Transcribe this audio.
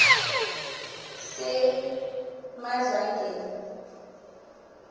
semadlangeni